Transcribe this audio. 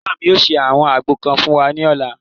Ìyá mi yóò ṣe àwọn àgbo kan fún wa ní ọ̀la